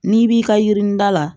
N'i b'i ka yirini da la